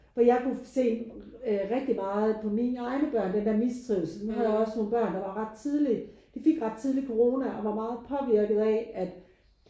For jeg kunne se rigtig meget på mine egne børn den der mistrivsel. Nu havde jeg også børn der var ret tidlig de fik ret tidligt corona og var meget påvirket af at